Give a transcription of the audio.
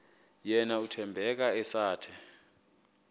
yena uthembeka esathe